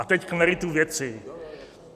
A teď k meritu věci.